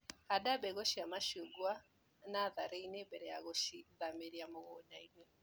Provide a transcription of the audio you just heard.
Handa mbegũ cia macungwa nasarĩinĩ mbere ya gũcithamĩria mũgundainĩ.